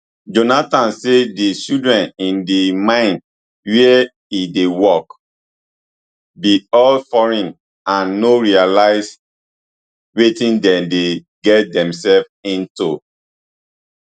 jonathan say di children in di mine wia e dey work be all foreign and no realise wetin dem dey get demselves into